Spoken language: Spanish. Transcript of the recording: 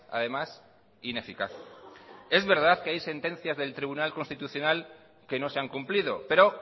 además ineficaz es verdad que hay sentencias del tribunal constitucional que no se han cumplido pero